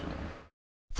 þá